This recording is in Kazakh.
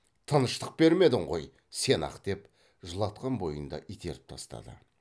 тыныштық бермедің ғой сен ақ деп жылатқан бойында итеріп тастады